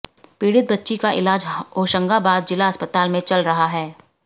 पीड़ित बच्ची का इलाज होशंगाबाद जिला अस्पताल में चल रहा है